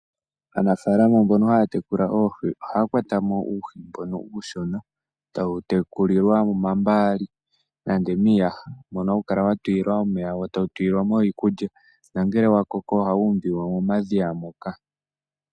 Aanafaalama mbono haya tekula oohi ohaya kwatamo uuhi uushona tawu tekulilwa momambaali nande miiyaha, mono hawu kala wa tulilwa omeya wo tawu lulilwamo iikulya nangele wa koko oha wu umbilwa momadhiya moka.